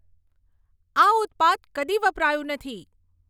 આ ઉત્પાદ કદી વપરાયું નથી